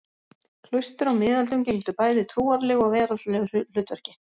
Klaustur á miðöldum gegndu bæði trúarlegu og veraldlegu hlutverki.